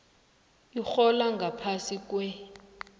urhola ngaphasi kwer